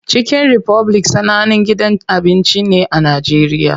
Chicken Republic sanannen gidan abinci ne a Najeriya.